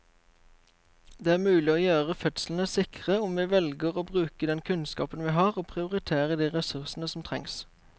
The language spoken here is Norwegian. Det er mulig å gjøre fødslene sikre om vi velger å bruke den kunnskapen vi har og prioritere de ressursene som trengs.